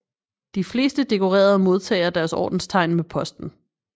De fleste dekorerede modtager deres ordenstegn med posten